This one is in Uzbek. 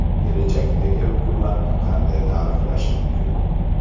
Kelajakdagi hukumatni qanday ta’riflash mumkin?